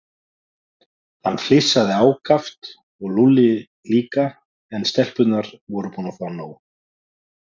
Hann flissaði ákaft og Lúlli líka en stelpurnar voru búnar að fá nóg.